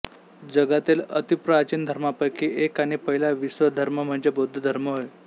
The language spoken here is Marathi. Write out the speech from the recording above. जगातील अतिप्राचीन धर्मांपैकी एक आणि पहिला विश्वधर्म म्हणजे बौद्ध धर्म होय